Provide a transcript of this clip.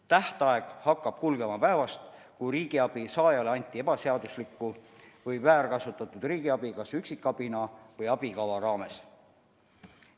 Tähtaeg hakkab kehtima päevast, kui riigiabi saajale anti ebaseaduslikku või väärkasutatud riigiabi kas üksikabina või abikava raames.